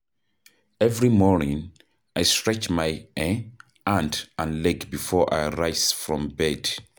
Every morning, I stretch my um hand and leg before I rise from bed.